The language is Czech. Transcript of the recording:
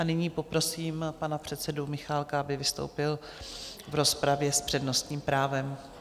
A nyní poprosím pana předsedu Michálka, aby vystoupil v rozpravě s přednostním právem.